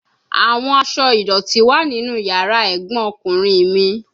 Awọn aṣọ idọti wa ninu yara egbon okunrin mi